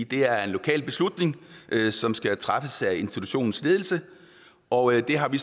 det er en lokal beslutning som skal træffes af institutionens ledelse og det har vi